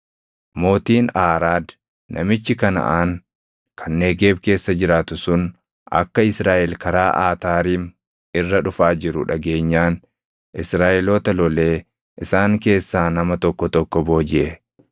Mootiin Aaraad namichi Kanaʼaan kan Negeeb keessa jiraatu sun akka Israaʼel karaa Ataariim irra dhufaa jiru dhageenyaan Israaʼeloota lolee isaan keessaa nama tokko tokko boojiʼe.